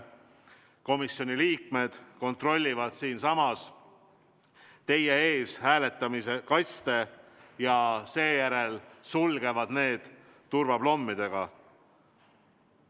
Komisjoni liikmed kontrollivad siinsamas teie ees hääletamiskaste ja sulgevad need turvaplommidega.